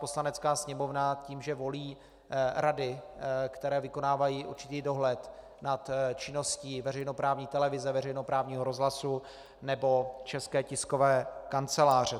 Poslanecká sněmovna tím, že volí rady, které vykonávají určitý dohled nad činností veřejnoprávní televize, veřejnoprávního rozhlasu nebo České tiskové kanceláře.